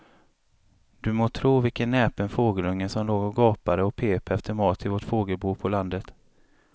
Du må tro vilken näpen fågelunge som låg och gapade och pep efter mat i vårt fågelbo på landet.